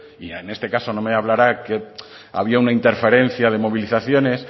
y en este caso no me hablará que había una interferencia de movilizaciones